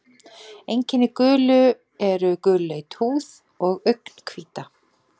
Einkenni gulu eru gulleit húð og augnhvíta.